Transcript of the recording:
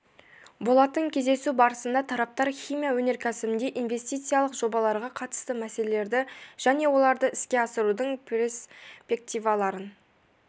болатын кездесу барысында тараптар химия өнеркәсібіндегі инвестициялық жобаларға қатысты мәселелерді және оларды іске асырудың перспективаларын